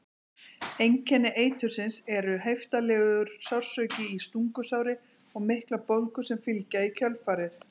Einkenni eitursins eru heiftarlegur sársauki í stungusári og miklar bólgur sem fylgja í kjölfarið.